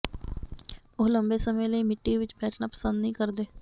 ਉਹ ਲੰਬੇ ਸਮੇਂ ਲਈ ਮਿੱਟੀ ਵਿਚ ਬੈਠਣਾ ਪਸੰਦ ਨਹੀਂ ਕਰਦੇ